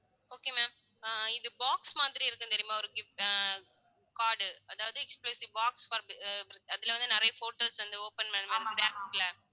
okay ma'am ah இது box மாதிரி இருக்கும் தெரியுமா ஒரு gift அஹ் card அதாவது box அதுல வந்து நிறைய photos அந்த open பண்ற மாதிரி